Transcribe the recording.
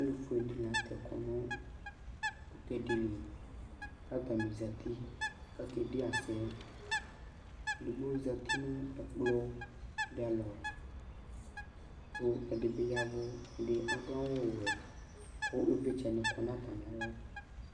Alu ɛɖini atɛ ɛkʊ ŋʊ tɛƙ lɩ Ƙataŋɩ zati ƙé biasemu Éɖigbo zatɩ ŋu ekplɔ ɖɩ alɔ, ƙʊ ɛɖɩɓɩ ƴaʋʊ ƙaɖu awu wɛ, ƙɩʋlɩtsɛ ƙɔ ŋʊ tamialɔ